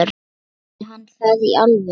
Sagði hann það í alvöru?